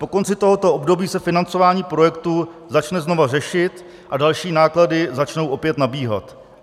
Po konci tohoto období se financování projektu začne znovu řešit a další náklady začnou opět nabíhat.